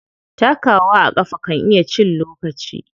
Takawa a ƙafa kan iya cin lokaci.